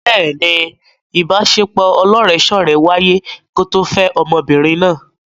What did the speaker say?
Bẹ́ẹ̀ni, ìbaṣepọ̀ ọlọ́rẹ̀ẹ́sọ́rẹ̀ẹ́ wáyé kó tó fẹ́ ọmọbìnrin náà.